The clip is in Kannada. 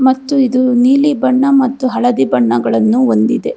ಮತ್ತು ಇದು ನೀಲಿ ಬಣ್ಣ ಮತ್ತು ಹಳದಿ ಬಣ್ಣಗಳನ್ನು ಹೊಂದಿದೆ.